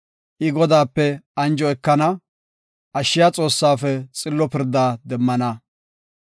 I Godaape anjo ekana; ashshiya Xoossaafe xillo pirdaa demmana.